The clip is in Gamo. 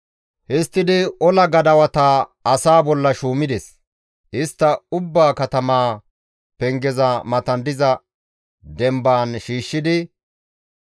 Histtidi ola gadawata asaa bolla shuumides; istta ubba katamaa pengeza matan diza dembaan shiishshidi,